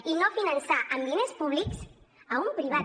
i no finançar amb diners públics un privat